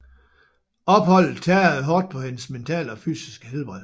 Opholdet tærede hårdt på hendes mentale og fysiske helbred